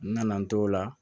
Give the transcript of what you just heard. N nana n t'o la